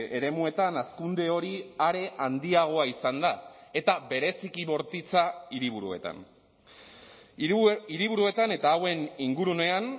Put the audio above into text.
eremuetan hazkunde hori are handiagoa izan da eta bereziki bortitza hiriburuetan hiriburuetan eta hauen ingurunean